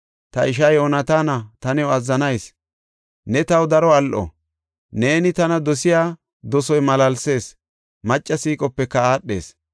Ta ishaa Yoonataana, ta new azzanayis; ne taw daro al7o. Neeni tana dosiya dosoy malaalsees; macca siiqopeka aadhees.